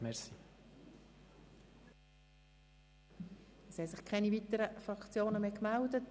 Es haben sich keine weiteren Fraktionen mehr gemeldet.